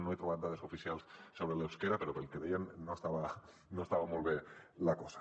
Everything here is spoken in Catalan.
no he trobat dades oficials sobre l’eusquera però pel que deien no estava molt bé la cosa